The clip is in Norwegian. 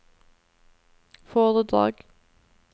foredrag